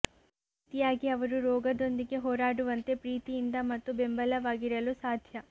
ಈ ರೀತಿಯಾಗಿ ಅವರು ರೋಗದೊಂದಿಗೆ ಹೋರಾಡುವಂತೆ ಪ್ರೀತಿಯಿಂದ ಮತ್ತು ಬೆಂಬಲವಾಗಿರಲು ಸಾಧ್ಯ